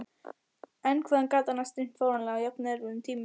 En hvað hann gat annars dreymt fáránlega á jafnerfiðum tímum.